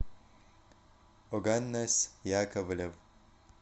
оганес яковлев